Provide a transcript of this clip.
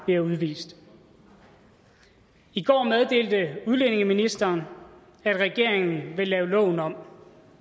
bliver udvist i går meddelte udlændingeministeren at regeringen vil lave loven om